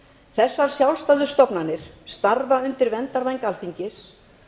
þessar sjálfstæðu stofnanir starfa undir verndarvæng alþingis